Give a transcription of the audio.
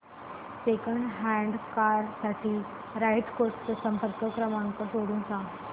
second hand car साठी Right Cars चा संपर्क क्रमांक शोधून सांग